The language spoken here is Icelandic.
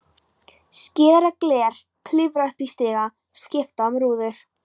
Skera gler, klifra upp í stiga, skipta um rúður.